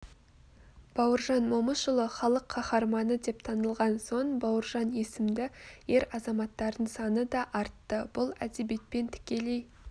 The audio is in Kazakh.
бауыржан момышұлы халық қаһарманы деп танылған соң бауыржан есімді ер азаматтардың саны даартты бұл әдебиетпен тікелей